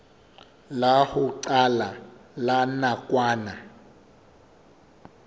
la ho qala la nakwana